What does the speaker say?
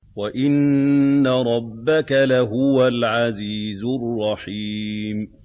وَإِنَّ رَبَّكَ لَهُوَ الْعَزِيزُ الرَّحِيمُ